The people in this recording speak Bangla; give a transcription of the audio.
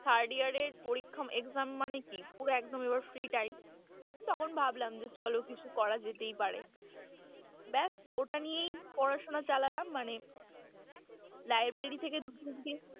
Third year এর পরীক্ষা exam মানে কি পুরো একদম এবার free, time তখন ভাবলাম যে চলো কিছু করা যেতেই পারে, ব্যাস ওটা নিয়েই পড়াশুনা চালালাম মানে library থেকে দু তিনটে।